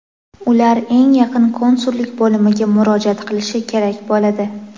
ular eng yaqin konsullik bo‘limiga murojaat qilishi kerak bo‘ladi.